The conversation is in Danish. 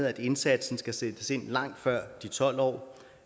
at indsatsen skal sættes ind langt før de tolv år